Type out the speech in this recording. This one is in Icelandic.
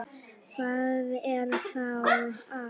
Hvað er þá að?